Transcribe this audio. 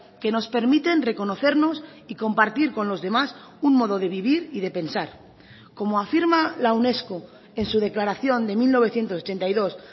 que nos permiten reconocernos y compartir con los demás un modo de vivir y de pensar como afirma la unesco en su declaración de mil novecientos ochenta y dos